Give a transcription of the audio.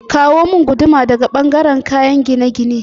Kawo min guduma daga ɓangaren kayen gine-gine